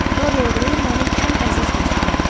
Dorian Gray mənim ən əziz dostumdur.